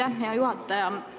Aitäh, hea juhataja!